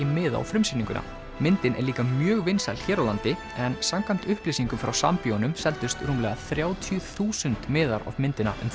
miða á frumsýninguna myndin er líka mjög vinsæl hér á landi en samkvæmt upplýsingum frá Sambíóunum seldust rúmlega þrjátíu þúsund miðar á myndina um